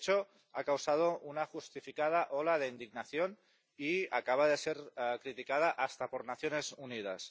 De hecho, ha causado una justificada ola de indignación y acaba de ser criticada hasta por las Naciones Unidas.